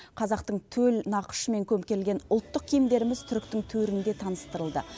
қазақтың төл нақышымен көмкерілген ұлттық киімдеріміз түріктің төрінде таныстырылды